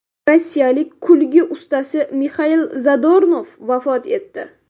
Rossiyalik kulgi ustasi Mixail Zadornov vafot etdi .